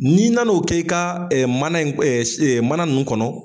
N'i nana'o k'i ka mana mana nunnu kɔnɔ.